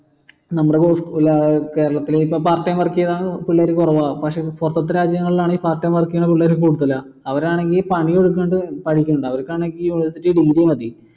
നമ്മടെ ഏർ കേരളത്തിൽ ഇപ്പൊ part time work ചെയ്യുന്ന പിള്ളേര് കുറവാ പക്ഷേ പുറത്തത്തെ രാജ്യങ്ങളിൽ part time work ചെയുന്ന പിള്ളേർ കൂടുതലാ അവരാണെങ്കിൽ പണിയും എടുക്കും പഠിപ്പും ഉണ്ട് അവരിക്കാണെങ്കി മതി